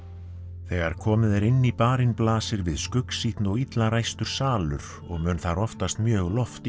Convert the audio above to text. þegar komið er inn í barinn blasir við og illa ræstur salur og mun þar oftast mjög